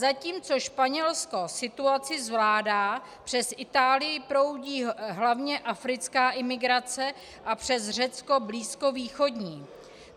Zatímco Španělsko situaci zvládá, přes Itálii proudí hlavně africká imigrace a přes Řecko blízkovýchodní.